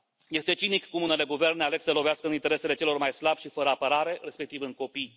Este cinic cum unele guverne aleg să lovească în interesele celor mai slabi și fără apărare, respectiv în copii.